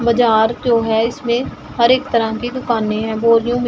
बजार क्यों है इसमें हर एक तरह की दुकानें है --